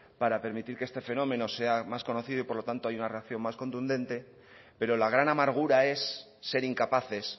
para permitir que este fenómeno sea más conocido y por lo tanto haya una reacción más contundente pero la gran amargura es ser incapaces